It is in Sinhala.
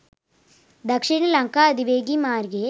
දක්ෂිණ ලංකා අධිවේගී මාර්ගයේ